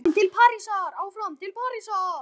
Áfram til Parísar